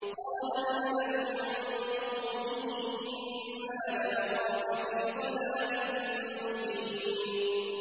قَالَ الْمَلَأُ مِن قَوْمِهِ إِنَّا لَنَرَاكَ فِي ضَلَالٍ مُّبِينٍ